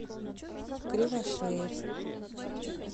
кривошеев